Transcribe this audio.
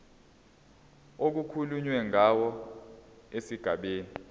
okukhulunywe ngawo esigabeni